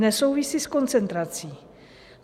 Nesouvisí s koncentrací.